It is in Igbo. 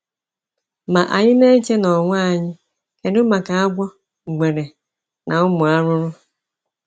“Ma,” anyị na-eche n'onwe anyị, “kedu maka agwọ, ngwere, na ụmụ arụrụ?”